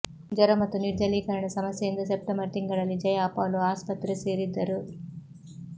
ಜ್ವರ ಮತ್ತು ನಿರ್ಜಲೀಕರಣ ಸಮಸ್ಯೆಯಿಂದ ಸೆಪ್ಟೆಂಬರ್ ತಿಂಗಳಲ್ಲಿ ಜಯಾ ಅಪೋಲೋ ಆಸ್ಪತ್ರೆ ಸೇರಿದ್ದರು